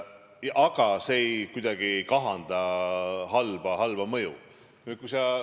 Aga see ei kahanda kuidagi seda halba mõju.